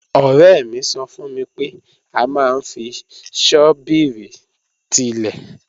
Ọ̀rẹ́ mi sọ fún mi pé a máa ń fi ṣọ́bìrì tilẹ̀